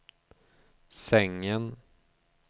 sängen